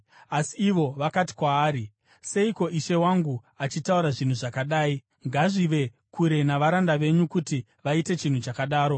Asi ivo vakati kwaari, “Seiko ishe wangu achitaura zvinhu zvakadai? Ngazvive kure navaranda venyu kuti vaite chinhu chakadaro!